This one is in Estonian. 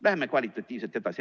Läheme kvalitatiivselt edasi.